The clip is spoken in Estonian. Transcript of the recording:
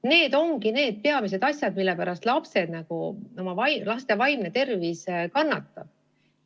Need on peamised asjad, mille pärast laste vaimne tervis kannatab.